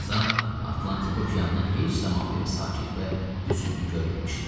Tarzan Atlantik okeanını heç zaman belə sakit və hüzünlü görməmişdi.